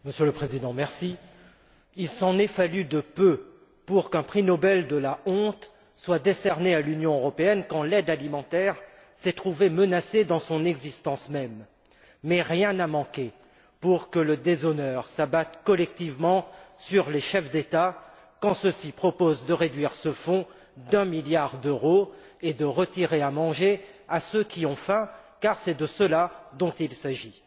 Monsieur le Président, il s'en est fallu de peu pour qu'un prix Nobel de la honte soit décerné à l'Union européenne quand l'aide alimentaire s'est trouvée menacée dans son existence même. Mais rien n'a manqué pour que le déshonneur s'abatte collectivement sur les chefs d'État quand ceux ci ont proposé de réduire ce fonds d'un milliard d'euros et de retirer à manger à ceux qui ont faim, car c'est de cela dont il s'agit.